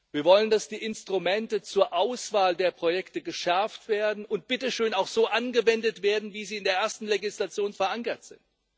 Wir wollen, dass die Instrumente zur Auswahl der Projekte geschärft werden und, bitte schön, auch so angewendet werden, wie sie in der ersten Legislation verankert sind.